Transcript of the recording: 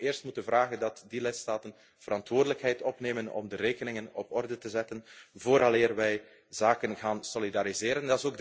is. Ik denk dat we eerst moeten vragen dat die lidstaten verantwoordelijkheid opnemen om de rekeningen op orde te zetten vooraleer we zaken gaan solidariseren.